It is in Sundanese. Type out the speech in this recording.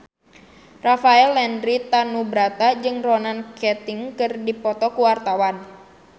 Rafael Landry Tanubrata jeung Ronan Keating keur dipoto ku wartawan